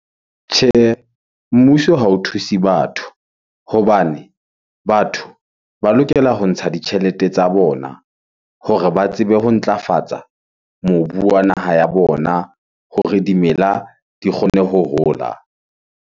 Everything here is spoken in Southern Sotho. Tjhehe, mmuso ha o thuse batho hobane batho ba lokela ho ntsha ditjhelete tsa bona hore ba tsebe ho ntlafatsa mobu wa naha ya bona hore dimela di kgone ho hola.